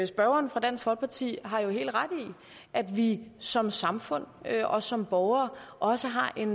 spørgeren fra dansk folkeparti har jo helt ret i at vi som samfund og som borgere også har en